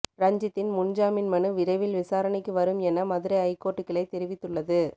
ரஞ்சித்தின் முன்ஜாமீன் மனு விரைவில் விசாரணைக்கு வரும் என மதுரை ஐகோர்ட் கிளை தெரிவித்துள்ளது